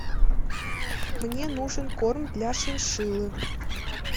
мне нужен корм для шиншиллы